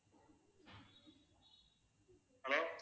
hello